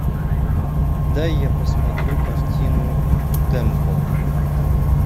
дай я посмотрю картину темпл